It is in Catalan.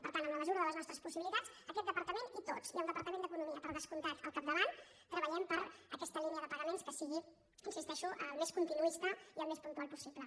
per tant en la mesura de les nostres possibilitats aquest departament i tots i el departament d’economia per descomptat al capdavant treballem per aquesta línia de pagaments que sigui hi insisteixo el més continuista i el més puntual possible